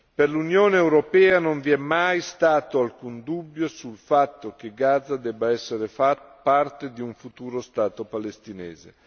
Per l'Unione europea non vi è mai stato alcun dubbio sul fatto che Gaza debba essere parte di un futuro Stato palestinese.